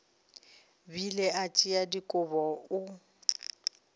bile a tšea dikobo o